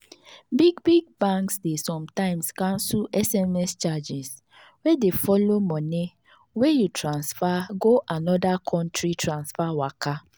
big big banks dey sometimes cancel sms charges wey dey follow mone wey you transfer go another country transfer waka.